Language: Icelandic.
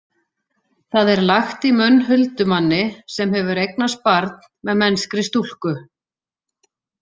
Það er lagt í munn huldumanni sem hefur eignast barn með mennskri stúlku.